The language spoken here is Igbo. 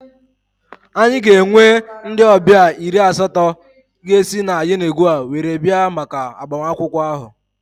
Anyị ga-enwe ndị ọbịa iri asatọ ga-esi na Yenagoa were bịa maka agbamakwụkwọ ahụ